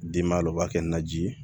Denba la u b'a kɛ naji ye